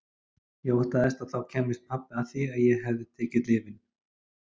Ég óttaðist að þá kæmist pabbi að því að ég hefði tekið lyfin.